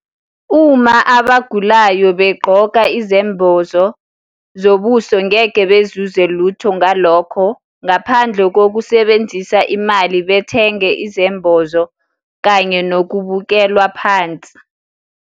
Uma abagulayo begqoka izembozo zobuso ngeke bezuze lutho ngalokho ngaphandle kokusebenzisa imali bethenga izembozo kanye nokuukelwa phansi.